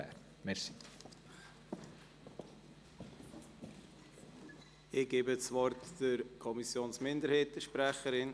Ich gebe der Sprecherin der Kommissionsminderheit, Grossrätin Stucki, das Wort.